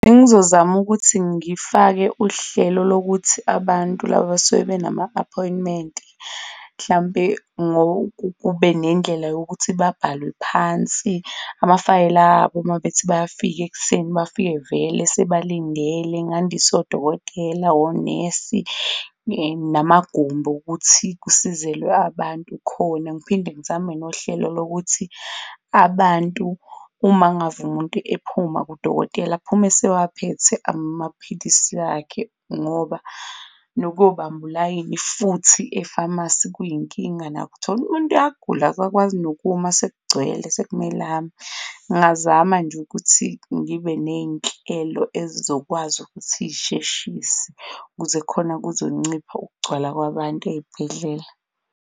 Bengizozama ukuthi ngifake uhlelo lokuthi abantu laba abasuke benama-appointment mhlampe kube nendlela yokuthi babhalewe phansi, amafayela abo mabethi bayafika ekuseni, bafike vele sebalindele, ngandise odokotela onesi, namagumbi okuthi kusizelwe abantu khona. Ngiphinde ngizame nohlelo lokuthi abantu uma ngave umuntu ephuma kudokotela aphume esewaphethe amaphilisi akhe ngoba nokuyobamba ulayini futhi e-pharmacy kuyinkinga nako uthole umuntu uyagula akakwazi nokuma sekugcwele, sekumele ame ngingazama nje ukuthi ngibe nei'nhlelo ezizokwazi ukuthi zisheshise ukuze khona kuzonciphisa ukugcwala kwabantu eyibhedlela.